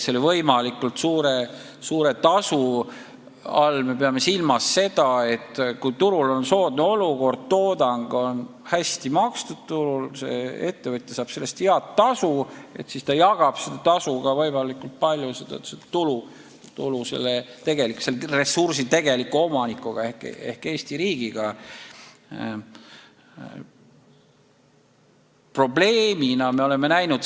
Selle võimalikult suure tasu all me peame silmas seda, et kui turul on soodne olukord, kui toodang on turul hästi makstud ja ettevõtja saab selle eest head tasu, siis ta jagab seda tasu, seda tulu selle ressursi tegeliku omanikuga ehk Eesti riigiga.